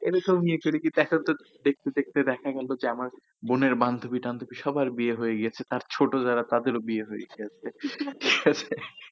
তাদের সব নিচে রেখেছে, একটা দেখতে দেখতে দেখা গেল যে আমার বোনের বান্ধবী টান্ধবী সবার বিয়ে হয়ে গিয়েছে তার ছোট যারা তাদেরও বিয়ে হয়ে গেছে